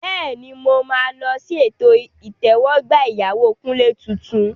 Bẹ́ẹ̀ni, mo máa lọ sí ètò ìtẹ́wọ́gbà ìyàwó Kunle tuntun.